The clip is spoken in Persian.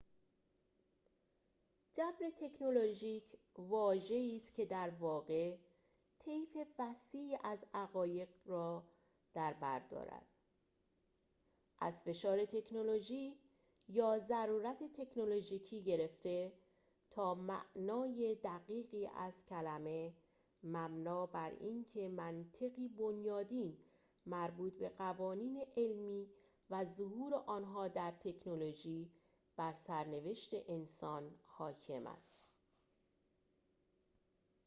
جبر تکنولوژیک واژه‌ای است که درواقع طیف وسیعی از عقاید را دربر دارد از فشار تکنولوژی یا ضرورت تکنولوژیکی گرفته تا معنای دقیقی از کلمه مبنی بر اینکه منطقی بنیادین مربوط به قوانین علمی و ظهور آنها در تکنولوژی بر سرنوشت انسان حاکم است